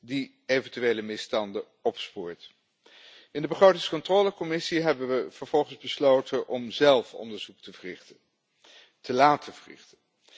die eventuele misstanden opspoort. In de Commissie begrotingscontrole hebben we vervolgens besloten om zelf onderzoek te verrichten, te laten verrichten.